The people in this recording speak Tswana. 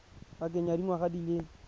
pakeng ya dingwaga di le